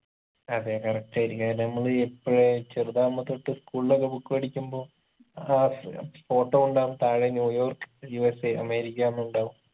അതെ correct ആയിരിക്കും അത് നമ്മളീ എപ്പഴേ ചെറുതാവുമ്പൊ തൊട്ട് school ഒക്കെ book പഠിക്കുമ്പൊ ഏർ photo ഉണ്ടാവും താഴെ ന്യൂയോർക് USA അമേരിക്കാന്നുണ്ടാവും